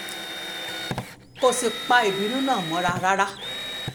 kò sì pa ìbínú náà mọ́ra rárá